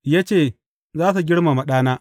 Ya ce, Za su girmama ɗana.’